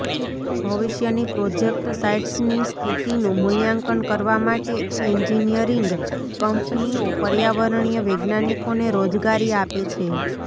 ભવિષ્યની પ્રોજેક્ટ સાઇટ્સની સ્થિતિનું મૂલ્યાંકન કરવા માટે એન્જીનિયરિંગ કંપનીઓ પર્યાવરણીય વૈજ્ઞાનિકોને રોજગારી આપે છે